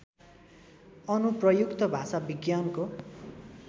अनुप्रयुक्त भाषाविज्ञानको